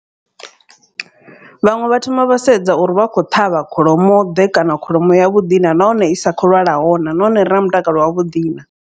Vhaṅwe vha thoma vha sedza uri vha kho ṱhavha kholomo ḓe kana kholomo ya vhuḓi naa. Nahone i sa khou lwalaho naa nahone ire na mutakalo wa vhuḓi naa.